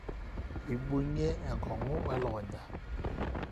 eibung'ie enkong'u welukunya